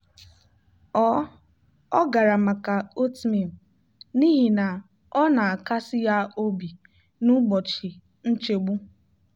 ọ ọ gara maka oatmeal n'ihi na ọ na-akasi ya obi n'ụbọchị nchegbu.